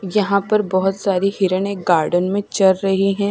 यहां पर बहोत सारी हिरन एक गार्डन में चर रही है।